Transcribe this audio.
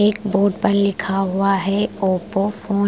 एक बोर्ड पर लिखा हुआ है ओपो फ़ो --